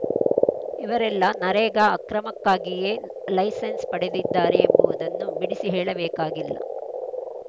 ಇವರೆಲ್ಲ ನರೇಗಾ ಅಕ್ರಮಕ್ಕಾಗಿಯೇ ಲೈಸೆನ್ಸ್‌ ಪಡೆದಿದ್ದಾರೆ ಎಂಬುವುದನ್ನು ಬಿಡಿಸಿ ಹೇಳಬೇಕಿಲ್ಲ